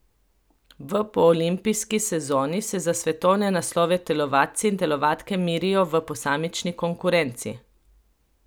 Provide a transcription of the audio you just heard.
V poolimpijski sezoni se za svetovne naslove telovadci in telovadke merijo v posamični konkurenci.